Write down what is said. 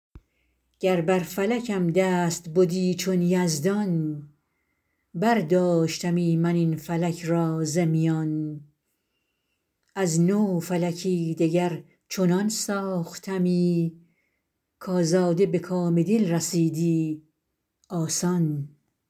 گر بر فلکم دست بدی چون یزدان برداشتمی من این فلک را ز میان از نو فلکی دگر چنان ساختمی کآزاده به کام دل رسیدی آسان